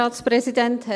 Punkt 4